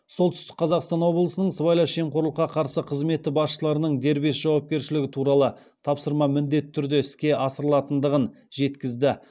солтүстік қазақстан облысының сыбайлас жемқорлыққа қарсы қызметі басшылардың дербес жауапкершілігі туралы тапсырма міндетті түрде іске асырылатындығын жеткізді